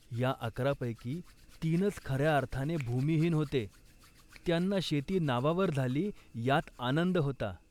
या अकरापैकी तीनच खऱ्या अर्थाने भूमिहीन होते. त्यांना शेती नावावर झाली यात आनंद होता